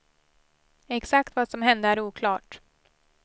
Exakt vad som hände är oklart.